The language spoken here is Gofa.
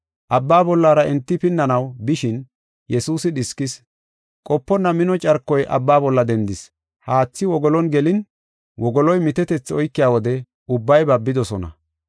Abbaa bollara enti pinnanaw bishin Yesuusi dhiskis. Qoponna mino carkoy abba bolla dendis. Haathi wogoluwan gelin wogoloy mitetethi oykiya wode ubbay babidosona.